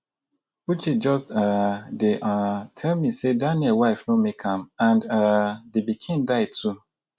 uche just um dey um tell me say daniel wife no make am and um the pikin die too